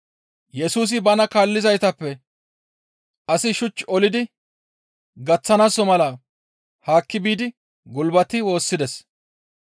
Yesusi bana kaallizaytappe asi shuch olidi gaththanaaso mala haakki biidi gulbati woossides.